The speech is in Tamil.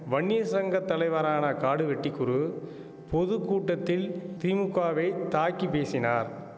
வன்னியர் சங்க தலைவரான காடுவெட்டி குரு பொது கூட்டத்தில் திமுகவை தாக்கி பேசினார்